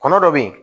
Kɔnɔ dɔ bɛ yen